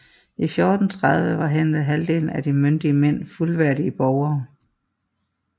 I 1430 var henved halvdelen af de myndige mænd fuldværdige borgere